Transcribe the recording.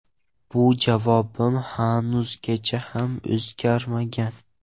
Bu javobim hanuzgacha ham o‘zgarmagan.